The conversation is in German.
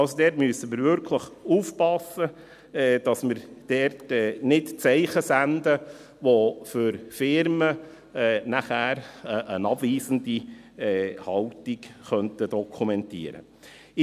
Da müssen wir also wirklich aufpassen, dass wir keine Zeichen setzen, die für Firmen dann eine abweisende Haltung dokumentieren könnten.